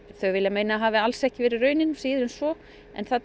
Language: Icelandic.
þau vilja meina að hafi alls ekki raunin síður en svo en þau